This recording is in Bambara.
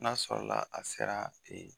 N'a sɔrɔ la a sera a fɛ ye